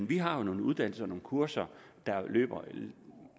de har nogle uddannelser og kurser der løber i